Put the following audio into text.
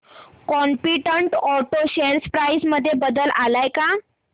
competent auto share price मध्ये बदल आलाय का